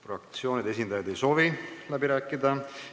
Fraktsioonide esindajad ei soovi läbi rääkida.